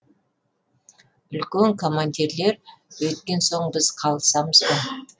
үлкен командирлер өйткен соң біз қалысамыз ба